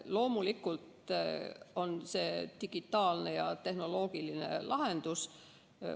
Loomulikult on see digitaalne ja tehnoloogiline lahendus.